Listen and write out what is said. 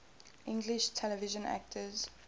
english television actors